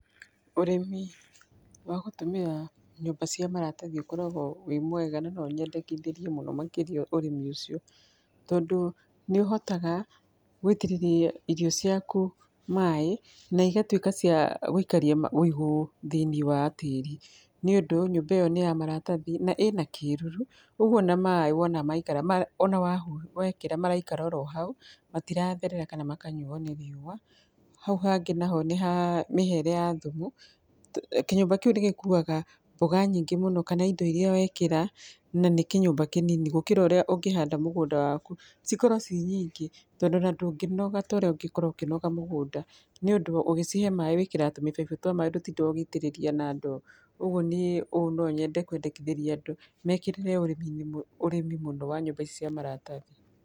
Ũrĩmi wa gũtũmĩra nyũmba cia maratathi ũkoragwo wĩ mwega, na no nyendekithĩrie mũno makĩria ũrĩmi ũcio, tondũ nĩ ũhotaga gwĩitĩrĩria irio ciaku maĩ, na igatuĩka cia gwĩikaria ma wĩigũ thĩinĩ wa tĩri, nĩ ũndũ nyũmba ĩyo nĩ ya maratathi na ĩna kĩruru, ũguo ona maĩ wona maikara ma ona wahu wekĩra maraikara orohau, matiratherera kana makanyuwo nĩ riũwa, hau hangĩ naho nĩ hamĩhere ya thumu, kĩnyũmba kĩu nĩ gĩkuwaga mboga nyingĩ mũno, kana indo iria wekĩra, na nĩ kĩnyũmba kĩnini gũkĩra ũrĩa ũngĩhanda mũgũnda waku, cikorwo cinyingĩ tondũ ona ndũngĩnoga toria ũngĩkorwo ũkĩnoga mũgũnda, nĩ ũndũ ũgĩcihe maĩ wĩkĩraga tũmĩbaibũ twa maĩ ndotindaga ũgĩitĩrĩria na ndoo, ũguo niĩ ũũ no nyende kwendikithĩria andũ, mekĩrĩre ũrĩminĩ ũrĩmi mũno wa nyũmba ici cia maratathi.